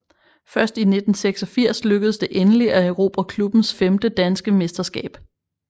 Først i 1986 lykkedes det endelig at erobre klubbens femte danske mesterskab